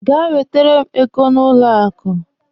Gaa wetere m ego na banki!